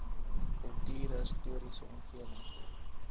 kultuurhis toriese omgewing